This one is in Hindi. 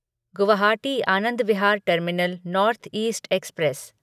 Guwahati Anand Vihar terminal north east express